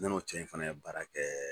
Ne n'o cɛ in fana ye baara kɛ.